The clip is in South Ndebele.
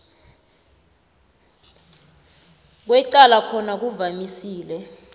kwecala khona kuvamise